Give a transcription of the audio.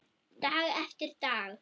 Dag eftir dag.